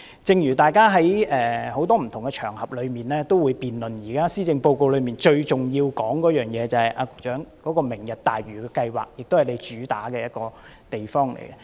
局長，大家在很多不同場合上，都會辯論現時施政報告中最重要的一個項目即"明日大嶼"計劃，也就是你的一項主要工作。